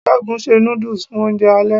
Segun se nudus fun ounje ale